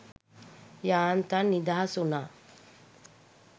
යාන්තම් නිදහස්වුනා